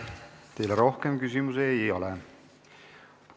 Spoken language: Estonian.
Teile rohkem küsimusi ei ole.